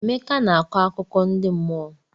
Emeka na-akọ akụkọ ndi mmụọ.